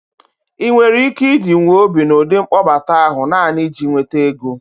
ị nwere ike idiwu obi n'ụdị mkpọbata ahụ naanị iji nweta ego?